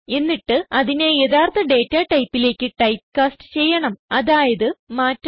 എന്നിട്ട് അതിനെ യഥാർത്ഥ ഡേറ്റ ടൈപ്പിലേക്ക് ടൈപ്പ് കാസറ്റ് ചെയ്യണം അതായത് മാറ്റണം